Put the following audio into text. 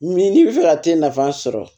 Min n'i bɛ fɛ ka t'e nafa sɔrɔ